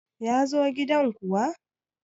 ya zo gidan kuwa!